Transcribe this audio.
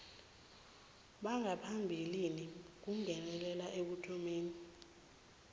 bangaphambilini kungenelela ekuthomeni